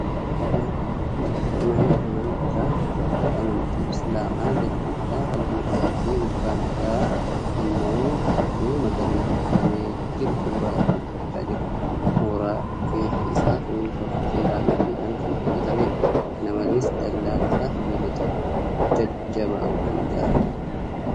Mana amantaa hordoftoota amantii Islaamaa jalli isaa halluu adii fi gubbaan isaa immoo halluu magariisa dibamee jiru suura irraa mul'achaa jira . Moora keessi isaa simintoo fi seeraamikiidhaan kan hojjatameedha . Kana malees, dallaan isaa sibiilota jajjabaan kan ijaarameedha .